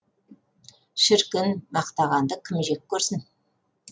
шіркін мақтағанды кім жек көрсін